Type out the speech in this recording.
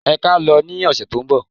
Ẹ kí á lọ ní ọ̀sẹ̀ tó ń bọ̀.